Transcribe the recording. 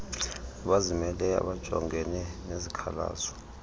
abazimeleyo abajongene nezikhalazo